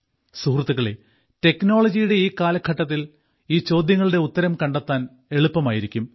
സുഹൃത്തുക്കളേ ടെക്നോളജിയുടെ ഈ കാലഘട്ടത്തിൽ ഈ ചോദ്യങ്ങളുടെ ഉത്തരം കണ്ടെത്താൻ എളുപ്പമായിരിക്കും